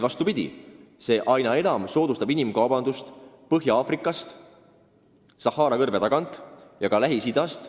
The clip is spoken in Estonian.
Vastupidi, see soodustab aina enam inimkaubandust, mis lähtub Põhja-Aafrikast Sahara kõrbe tagant ja ka Lähis-Idast.